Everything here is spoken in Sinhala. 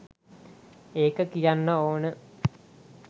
ඒක කියන්න ඕනෙ